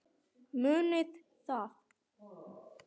Munið það.